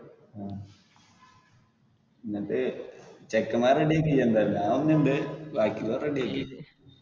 എന്നിട്ട് ചെക്കെന്മാരെ ready ആക്ക് ഇജ്ജ് എന്തായാലും, ഞാൻ വരുന്നുണ്ട്, ബാക്കി ഉള്ള വരെ ready ആക്ക്.